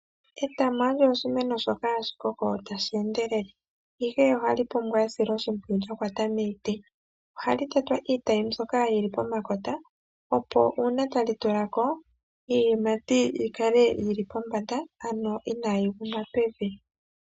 Etamo olyo oshimeno shoka hashi koko tashi endelele ihe ohashi pumbwa esilo shimpwiyu lyakata miiti. Ohali tetwa iitayi mbyoka yili pomakota opo uuna tali tulako iiyimati yi kale yili pombanda kayi kale yaguma pevi.